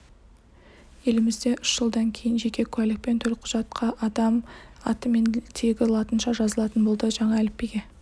елімізде үш жылдан кейін жеке куәлік пен төлқұжатқаадам аты мен тегі латынша жазылатын болды жаңа әліпбиге